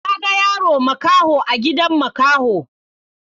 Na ga yaro makaho a gidan makaho.